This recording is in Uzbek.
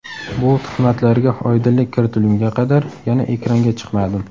Bu tuhmatlarga oydinlik kiritilgunga qadar yana ekranga chiqmadim.